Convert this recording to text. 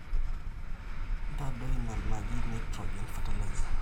ntadoi ina naji nitrogen fertilizer